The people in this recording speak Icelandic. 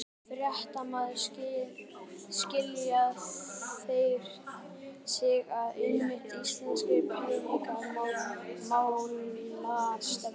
Fréttamaður: Skilja þeir sig frá einmitt íslenskri peningamálastefnu?